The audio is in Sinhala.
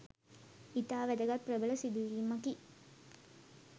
ඉතා වැදගත් ප්‍රබල සිදුවීමකි.